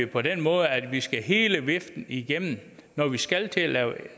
på den måde at vi skal hele viften igennem når vi skal til at lave